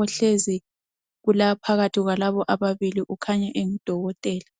ohlezi phakathi kwalabo ababili ukhanya engudokotela.